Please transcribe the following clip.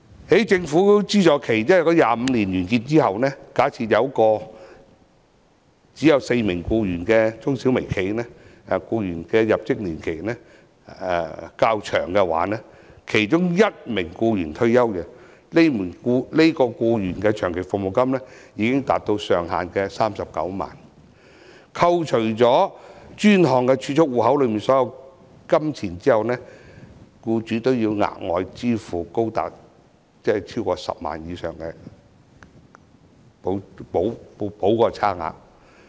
在政府資助期25年完結之後，假設一間只有4名僱員的中小微企，如果它的僱員入職年期較長，其中一名僱員退休，這名僱員的長期服務金已經達到上限的39萬元，扣除專項儲蓄戶口內所有金錢後，僱主還要額外支付高達10萬元以上的差額。